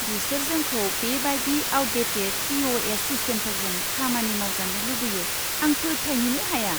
बिसोर जोंखौ बेबादि आउटडेटेट पि.अ.एस. सिस्टेमफोरजों खामानि मावजानो लुबैयो आं फोथायनोनो हाया।